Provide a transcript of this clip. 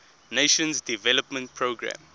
nations development programme